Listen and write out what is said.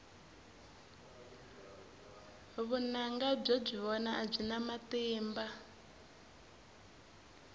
vunanga byo byi vona a byi na matimba